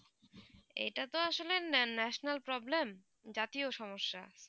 এইটা তো আসলে national problem জাতীয় সমস্যা